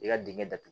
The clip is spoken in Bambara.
I ka dingɛ datugu